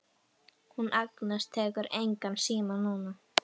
Hún Agnes tekur engan síma núna.